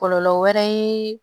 Kɔlɔlɔ wɛrɛ ye